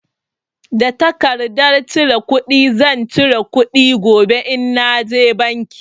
Da tarkardar cire kuɗi zan cire kuɗi gobe in na je banki.